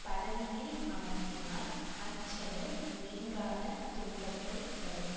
பதவியில் அமர்த்தினால் அச்செயல் நீங்காத துன்பத்தை தரும்